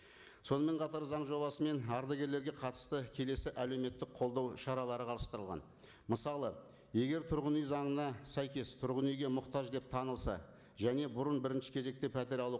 сонымен қатар заң жобасымен ардагерлерге қатысты келесі әлеуметтік қолдау шаралары қарастырылған мысалы егер тұрғын үй заңына сәйкес тұрғын үйге мұқтаж деп танылса және бұрын бірінші кезекте пәтер алу